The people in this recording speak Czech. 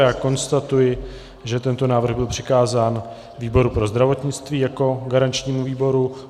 Já konstatuji, že tento návrh byl přikázán výboru pro zdravotnictví jako garančnímu výboru.